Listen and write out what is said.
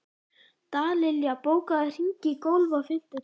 Dallilja, bókaðu hring í golf á fimmtudaginn.